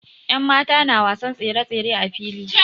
Yanmata na wasan tsere-tsere a fili.